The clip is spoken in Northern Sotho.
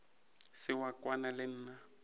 se wa kwana le nna